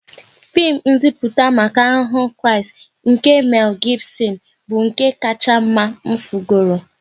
Fim nziputa maka Ahụhụ Kraịst nke Mel Gibson bụ nke kacha mma m fugoro